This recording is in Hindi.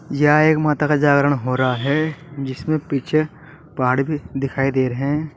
यह एक माता का जागरण हो रहा है जिसमें पीछे पहाड़ भी दिखाई दे रहे है।